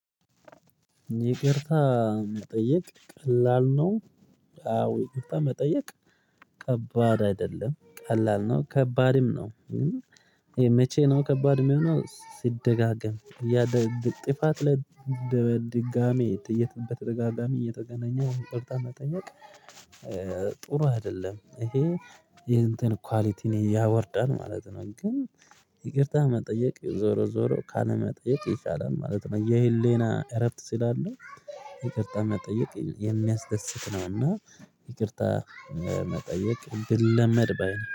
ይቅርታ መጠየቅ ቀላል ነው። ይቅርታ መጠየቅ ከባድ አይደለም ቀላል ነው ከባድም ነው። ይሄ መቼ ነው ከባድ የሚሆነው ሲደጋገም። ጥፋት ላይ ለድጋሚ በተደጋጋሚ እየተገናኘ ይቅርታ መጠየቅ። ጥሩ አይደለም ይሄ ይሄን እንትን ኳሊቲ ነው ያወርዳን ማለት ነው። ግን ይቅርታ መጠየቅ ዞሮ ዞሮ ካለመጠየቅ ይሻላል ማለት ነው። የህሌና እረፍት ሲላል ይቅርታ መጠየቅ የሚያስደስት ነውና። ይቅርታ መጠየቅ ቢለመድ ባይ ነኝ